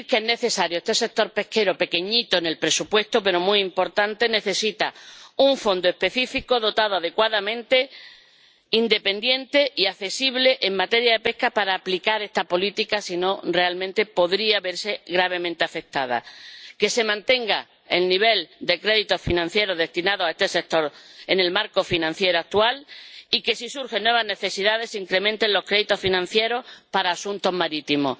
Este sector pesquero —pequeñito en el presupuesto, pero muy importante— necesita un fondo específico dotado adecuadamente, independiente y accesible en materia de pesca para aplicar esta política —si no, realmente, podría verse gravemente afectada—. También es necesario que se mantenga el nivel de crédito financiero destinado a este sector en el marco financiero actual y que, si surgen nuevas necesidades, se incrementen los créditos financieros para asuntos marítimos.